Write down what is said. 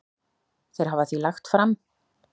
Þeir hafa því lagt fram